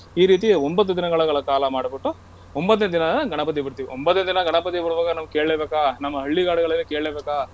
ಈ ರೀತಿ ಒಂಭತ್ತು ದಿನಗಳ ಕಾಲ ಮಾಡಬಿಟ್ಟು ಒಂಭತ್ತನೇ ದಿನ ಗಣಪತಿ ಬಿಡ್ತೀವಿ. ಒಂಭತ್ತನೇ ದಿನ ಗಣಪತಿ ಬಿಡ್ಬೇಕಾದ್ರೆ ನಮ್ ಕೇಳ್ಳೆಬೇಕಾ ನಮ್ಮ ಹಳ್ಳಿಗಳಲ್ಲಿ ಕೇಳ್ಳೆ ಬೇಕಾ.